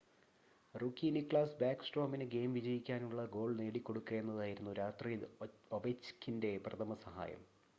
rookie Niklas ബാക്ക്സ്ട്രോമിന് game വിജയിക്കാനുള്ള goal നേടിക്കൊടുക്കുക എന്നതായിരുന്നു രാത്രിയിൽ ഒവെച്ച്കിൻ്റെ പ്രഥമ സഹായം